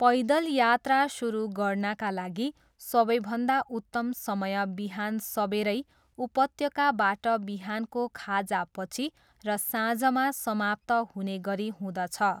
पैदल यात्रा सुरु गर्नाका लागि सबैभन्दा उत्तम समय बिहान सबेरै, उपत्यकाबाट बिहानको खाजापछि र साँझमा समाप्त हुनेगरी हुँदछ।